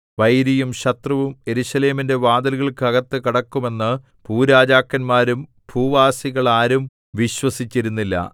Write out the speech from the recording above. വൈരിയും ശത്രുവും യെരൂശലേമിന്റെ വാതിലുകൾക്കകത്ത് കടക്കും എന്ന് ഭൂരാജാക്കന്മാരും ഭൂവാസികൾ ആരും വിശ്വസിച്ചിരുന്നില്ല